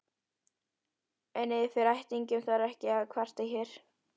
En yfir ættingjum þarf ekki að kvarta hér.